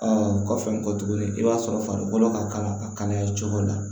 o kɔfɛ n ko tuguni i b'a sɔrɔ farikolo ka kalan a kana ye cogo dɔ la